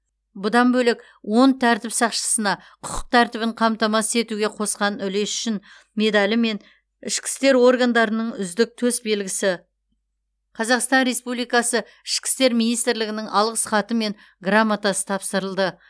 бұдан бөлек он тәртіп сақшысына құқық тәртібін қамтамасыз етуге қосқан үлесі үшін медалі мен ішкі істер органдарының үздік төсбелгісі қазақстан республикасы ішкі істер министрлігінің алғыс хаты мен грамотасы тапсырылды